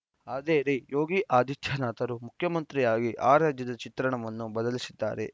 ಆದರೆ ಯೋಗಿ ಆದಿತ್ಯನಾಥರು ಮುಖ್ಯಮಂತ್ರಿಯಾಗಿ ಆ ರಾಜ್ಯದ ಚಿತ್ರಣವನ್ನು ಬದಲಿಸಿದ್ದಾರೆ